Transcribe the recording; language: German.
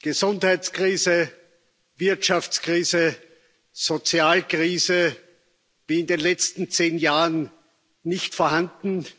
Gesundheitskrise, Wirtschaftskrise, Sozialkrise, wie in den letzten zehn Jahren nicht vorhanden.